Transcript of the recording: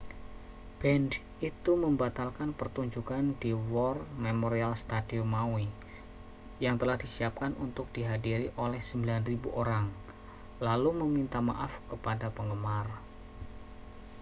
band itu membatalkan pertunjukan di war memorial stadium maui yang telah disiapkan untuk dihadiri oleh 9.000 orang lalu meminta maaf kepada penggemar